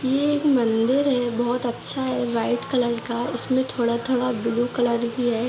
ये एक मंदिर है बहुत अच्‍छा है व्‍हाईट कलर का उसमें थोड़ा - थोड़ा ब्‍लू कलर भी है।